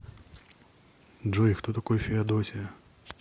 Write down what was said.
джой кто такой феодосия